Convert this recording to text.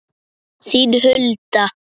Þín Hulda.